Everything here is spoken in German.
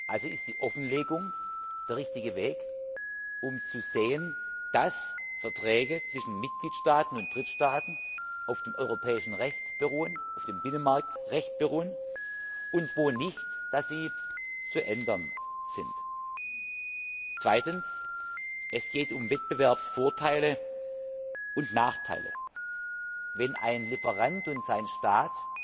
Also ist die Offenlegung der richtige Weg, um zu sehen, dass Verträge zwischen Mitgliedstaaten und Drittstaaten auf dem europäischen Recht, auf dem Binnenmarktrecht beruhen und wo dies nicht der Fall ist, dass sie zu ändern sind. Es geht um Wettbewerbsvorteile und nachteile. Wenn ein Lieferant und sein Staat